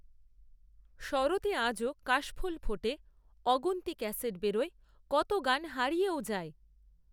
শরতে আজও কাশফুল ফোটে অগুন্তি ক্যাসেট বেরোয় কত গান হারিয়েও যায়